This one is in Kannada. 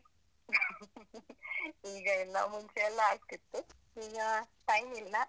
caugh ಈಗ time ಇಲ್ಲಾ.